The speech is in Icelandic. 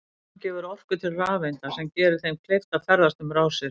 Spennan gefur orku til rafeinda sem gerir þeim kleift að ferðast um rásir.